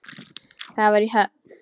Það var í Höfn.